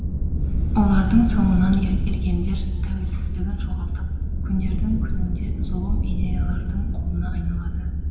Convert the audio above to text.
олардың соңынан ергендер тәуелсіздігін жоғалтып күндердің күнінде зұлым идеялардың құлына айналады